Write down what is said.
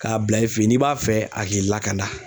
K'a bila i fɛ yen n'i b'a fɛ a k'i lakana